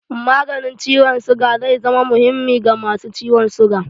Maganin ciwon suga zai zama muhimmi ga masu ciwon suga